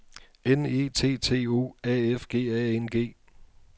N E T T O A F G A N G